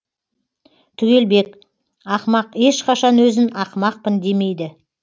түгелбек ақымақ ешқашан өзін ақымақпын демейді